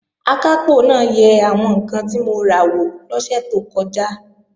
Akápò náà yẹ àwọn ǹkan tí mo ra wò lọ́sẹ̀ tó kọjá